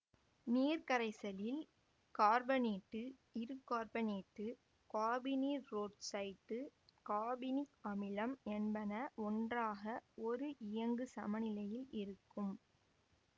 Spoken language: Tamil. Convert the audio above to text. நீர்க்கரைசலில் கார்பனேட்டு இருகார்பனேட்டு காபனீரொட்சைட்டு காபோனிக் அமிலம் என்பன ஒன்றாக ஒரு இயங்கு சமநிலையில் இருக்கும்